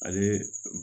Ale